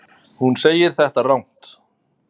Hún segir þetta rangt.